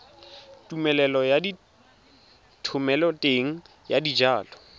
tumelelo ya thomeloteng ya dijalo